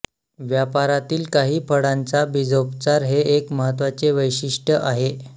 व्यापारातील काही फळांचा बीजोपचार हे एक महत्त्वाचे वैशिष्ट्य आहे